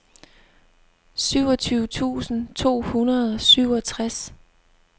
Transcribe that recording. syvogtyve tusind to hundrede og syvogtres